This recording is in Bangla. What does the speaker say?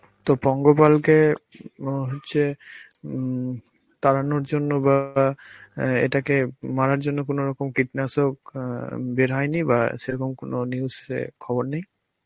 তো পঙ্গপালকে অ হচ্ছে হম তাড়ানোর জন্য বা অ্যাঁ এটাকে মারার জন্য কোনরকম কীটনাশক আঁ বের হয়নি বা সেরকম কোন news এ খবর নেই?